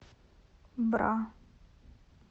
бра